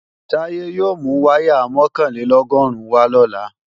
Táyé yóò mú wáyà mọ̀kànlélọ́gọ́rùn wá lọ́la